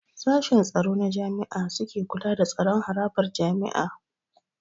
Sashen tsaro na jami'a suke kula da tsaron harabar jami'a